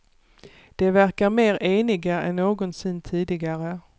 De verkade mer eniga än någonsin tidigare.